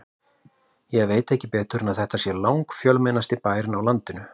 Ég veit ekki betur en þetta sé langfjölmennasti bærinn á landinu.